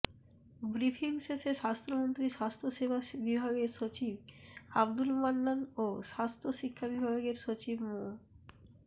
briefing শেষে স্বাস্থ্যমন্ত্রী স্বাস্থ্যসেবা বিভাগের সচিব আবদুল মান্নান ও স্বাস্থ্যশিক্ষা বিভাগের সচিব মো